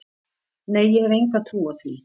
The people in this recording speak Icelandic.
Nei, ég hef enga trú á því.